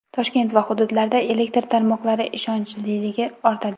Toshkent va hududlarda elektr tarmoqlari ishonchliligi ortadi.